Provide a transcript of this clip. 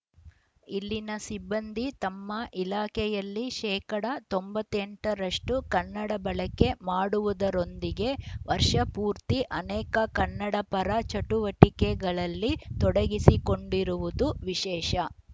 ಇಲ್ಲಿನ ಸಿಬ್ಬಂದಿ ತಮ್ಮ ಇಲಾಖೆಯಲ್ಲಿ ಶೇಕಡಾ ತೊಂಬತ್ತ್ ಎಂಟ ರಷ್ಟುಕನ್ನಡ ಬಳಕೆ ಮಾಡುವುದರೊಂದಿಗೆ ವರ್ಷಪೂರ್ತಿ ಅನೇಕ ಕನ್ನಡಪರ ಚಟುವಟಿಕೆಗಳಲ್ಲಿ ತೊಡಗಿಸಿಕೊಂಡಿರುವುದು ವಿಶೇಷ